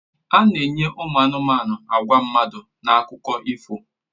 A na-enye ụmụ anụmanụ àgwà mmadụ na akụkọ ifo